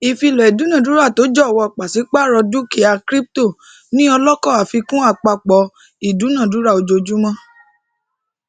ìfilọ idunadurato jọwọ pàsípàrọ dukia kiripito ni ọlọkọ àfikún àpapọ idunadura ojojumọ